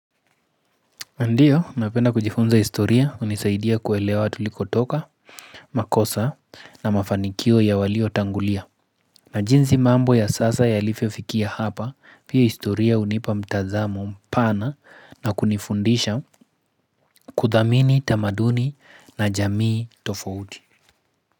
Ndio, napenda kujifunza historia hunisaidia kuelewa tulikotoka, makosa na mafanikio ya waliotangulia. Na jinsi mambo ya sasa yalivyofikia hapa, pia historia hunipa mtazamo mpana na kunifundisha kudhamini tamaduni na jamii tofouti.